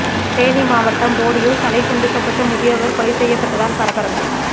தேனி மாவட்டம் போடியில் தலை துண்டிக்கப்பட்டு முதியவர் கொலை செய்யப்பட்டதால் பரபரப்பு